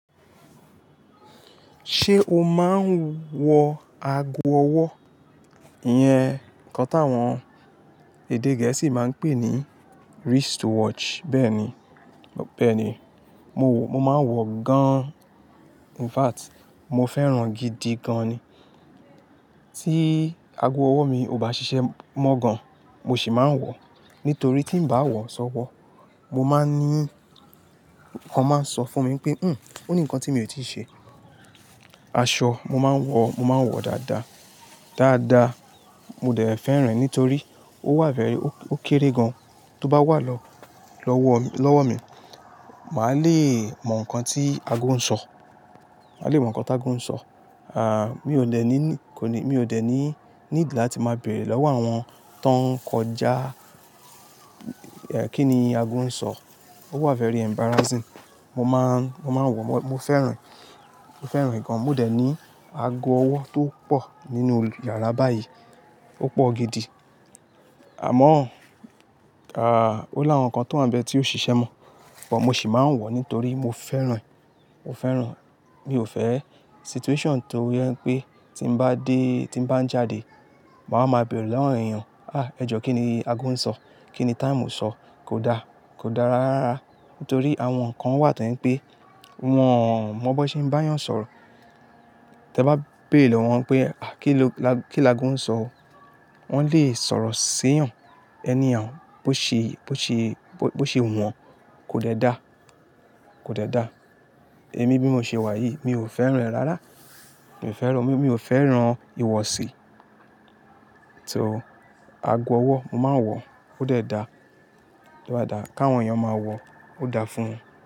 Ṣé o máa ń wọ ago ọwọ́? Iyẹn kan táwọn èdè Gẹ̀ẹ́sì máa ń pè ní wrist watch. Bẹ́ẹ̀ ni, bẹ́ẹ̀ ni. Mo máa ń wọ gan-an. In fact, mo fẹ́ràn gidi gan-an ni. Tí ago ọwọ́ mi ò bá ṣiṣẹ́ mọ́ gan, mo sì máa ń wọ. Nítorí tí n bá wọ̀ sọ́wọ́, mo máa ní, nǹkan máa ń sọ fún mi pé "híún, ó ní nǹkan tí mi ò tíì ṣe". Aṣọ mo máa ń wọ, mo máa ń wọ dáadáa. Dáadáa. Mo dẹ̀ fẹ́ràn e nítorí ó wà very, ó kéré gan. Tí ó bá wà lọ́wọ́ mi, màá le mọ nǹkan tí ago ń sọ. Màá le mọ nǹkan tí ago ń sọ. À, mi ò dẹ̀ ní, kò ní, mi ò dẹ̀ ní need láti máa bèrè lọ́wọ́ àwọn tan ń kọjá kí ni ago ń sọ. Ó wà fẹ́rẹ embarrassing. Mo máa ń, máa ń wọ, mo fẹ́ràn e, mo fẹ́ràn e gan-an. Mo dẹ̀ ní ago ọwọ́ tó pọ̀ nínú yàrá báyìí. Ó pọ̀ gidi. Àmọ́, à, ó láwọn kan tó wa ń bẹ tí ó ṣiṣẹ́ mọ́. But mo sì máa ń wọ nítorí mo fẹ́ràn e, mo fẹ́ràn e. Mi ò fẹ́ situation tó jé pé tí n bá dé, tí n bá ń jáde, màá máa bèrè lọ́wọ́ awon èèyàn "à, ẹ jọ́ kí ni ago ń sọ? Kí ni time sọ?" Kò da, kò dara rárá. Nítorí àwọn nǹkan wà tó je ń pé wọn mọ bó ṣe ń bá èèyàn sọ̀rọ̀. Tẹ bá bèrè lọ́wọ́ wọn pé "à, kí lọ-- kí lago ń sọ?" Wọn lè sọ̀rọ̀ sí eyan anyhow bo ṣe, bo ṣe, bo ṣe wu wọ̀n, kò dẹ da. Kò dẹ da. Èmi bí mo ṣe wà yìí, mi ò fẹ́ràn rẹ̀ rárá. Mi ò fẹ́ràn, mi ò fẹ́ràn ìwọ̀sí. So, ago ọwọ́, mo máa ń wọ, ó dẹ da. Ó dáa dáa. Ká àwọn èèyàn máa wọ, ó dáa fún wọn.